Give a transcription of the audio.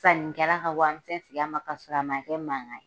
Sanikɛla ka warimisɛn segi a ma k'a sɔrɔ a ma kɛ ni mankan ye.